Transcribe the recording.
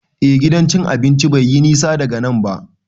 Eh, Gidan cin abinci bai yi nisa daga nan ba.